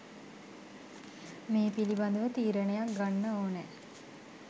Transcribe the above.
මේ පිළිබඳව තීරණයක් ගන්න ඕනෑ